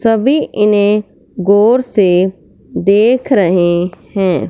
सभी इन्हे गौर से देख रहे हैं।